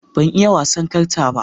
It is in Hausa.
Ban iya wasan karta ba.